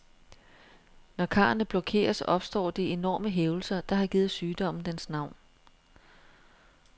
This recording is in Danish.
Når karrene blokeres, opstår de enorme hævelser, der har givet sygdommen dens navn.